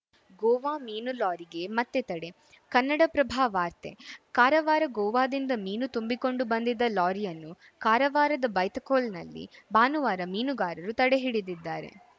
ಗೋವಾ ಮೀನು ಲಾರಿಗೆ ಮತ್ತೆ ತಡೆ ಕನ್ನಡಪ್ರಭ ವಾರ್ತೆ ಕಾರವಾರ ಗೋವಾದಿಂದ ಮೀನು ತುಂಬಿಕೊಂಡು ಬಂದಿದ್ದ ಲಾರಿಯನ್ನು ಕಾರವಾರದ ಬೈತಖೋಲ್‌ನಲ್ಲಿ ಭಾನುವಾರ ಮೀನುಗಾರರು ತಡೆಹಿಡಿದಿದ್ದಾರೆ